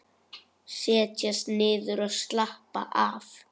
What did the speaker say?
Setjast niður og slappa af.